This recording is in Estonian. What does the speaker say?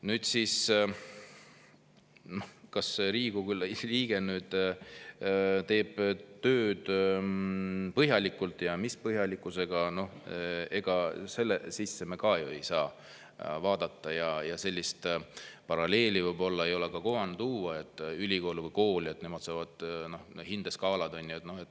Nüüd sellesse, kas Riigikogu liige teeb tööd põhjalikult ja mis põhjalikkusega, me ju ka ei saa vaadata ja sellist paralleeli võib-olla ei ole kohane tuua, et ülikoolis või koolis on olemas hindeskaalad.